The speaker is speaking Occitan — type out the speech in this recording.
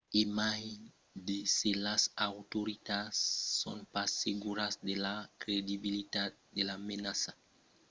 e mai se las autoritats son pas seguras de la credibilitat de la menaça l’autoritat dels transpòrts de maryland faguèron lo barrament jos l’exortacion del fbi